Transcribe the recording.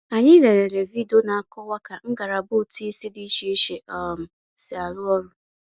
Anyị lelere vidiyo na-akọwa ka ngalaba ụtụisi dị iche iche um si arụ ọrụ.